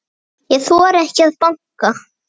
Ég þori ekki að banka.